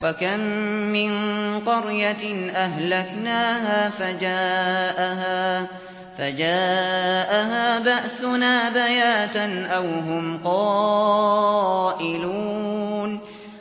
وَكَم مِّن قَرْيَةٍ أَهْلَكْنَاهَا فَجَاءَهَا بَأْسُنَا بَيَاتًا أَوْ هُمْ قَائِلُونَ